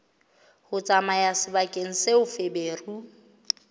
ho tsamaya sebakeng seo feberu